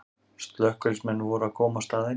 Slökkviliðsmenn voru að koma á staðinn